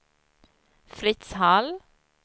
Fritz Hall